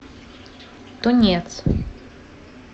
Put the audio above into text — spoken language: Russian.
тунец